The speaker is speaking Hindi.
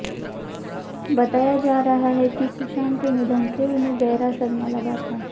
बताया जा रहा है कि सुशांत के निधन से उन्हें गहरा सदमा लगा था